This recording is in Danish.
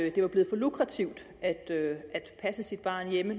at det var blevet for lukrativt at passe sit barn hjemme